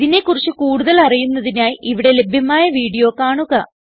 ഇതിനെ കുറിച്ച് കൂടുതൽ അറിയുന്നതിനായി ഇവിടെ ലഭ്യമായ വീഡിയോ കാണുക